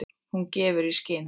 Hún gefur í skyn.